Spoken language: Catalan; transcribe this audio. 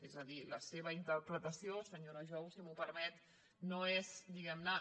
és a dir la seva interpretació senyora jou si m’ho permet no és diguemne